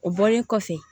O bɔlen kɔfɛ